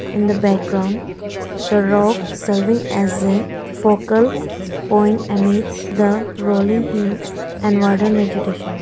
in the background the rock serving as a focal point emits the rolling hills and modern vegetation.